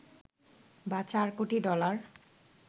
বা চার কোটি ডলার